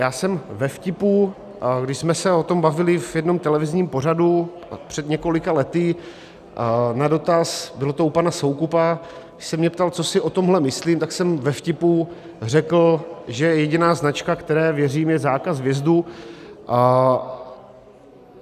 Já jsem ve vtipu, když jsme se o tom bavili v jednom televizním pořadu před několika lety, na dotaz, bylo to u pana Soukupa, když se mě ptal, co si o tomhle myslím, tak jsem ve vtipu řekl, že jediná značka, které věřím, je zákaz vjezdu.